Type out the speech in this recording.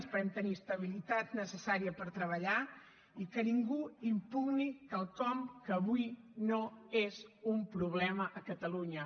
esperem tenir estabilitat necessària per treballar i que ningú impugni quelcom que avui no és un problema a catalunya